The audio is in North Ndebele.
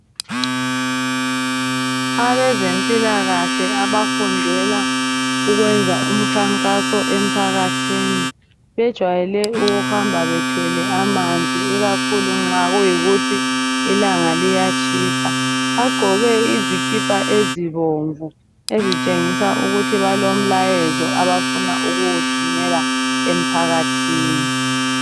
Abezempilakahle abafundela ukwenza umkhankaso emphakathini, bejwayele ukuhamba bethwele amanzi ikakhulu nxa kuyikuthi ilanga liyatshisa. Bagqoke izikipa ezibomvu ezitshengisa ukuthi balomlayezo abafuna ukuwuthumela emphakathini.